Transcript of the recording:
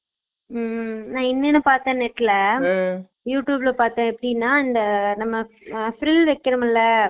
ஊம் உம் என்னனு பாத்தேன் net ட்டுல youtube ல பாத்தேன் எப்பிடினா இந்த spring வைகுரோம்ல